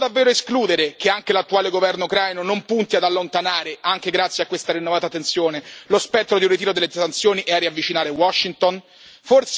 Ma chi può davvero escludere che anche l'attuale governo ucraino non punti ad allontanare, anche grazie a questa rinnovata tensione, lo spettro di un ritiro delle sanzioni e a riavvicinare Washington?